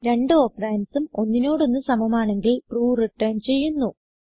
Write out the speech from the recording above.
രണ്ട് ഓപ്പറണ്ട്സ് ഉം ഒന്നിനോടൊന്ന് സമമാണെങ്കിൽ ട്രൂ റിട്ടർൻ ചെയ്യുന്നു